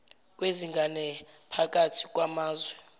kwezingane phakathi kwamazwe